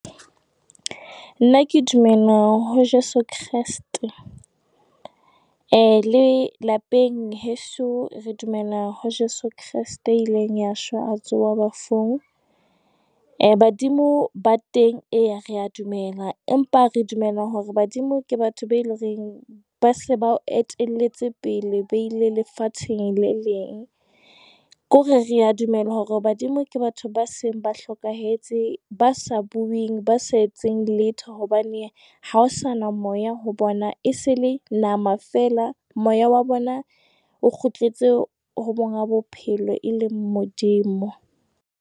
Nna ke dumela ho Jeso Kreste. Lelapeng heso re dumela ho Jeso Kreste ya ileng a shwa, a tsoha bafung. Badimo ba teng, e, re a dumela, empa re dumela hore badimo ke batho be le reng ba se ba o etelletse pele, ba ile lefatsheng le leng. Ke hore re a dumela hore badimo ke batho ba seng ba hlokahetse, ba sa bueng ba sa etseng letho hobane ha ho sa na moya ho bona, e se le nama feela. Moya wa bona o kgutletse ho monga bophelo e leng Modimo.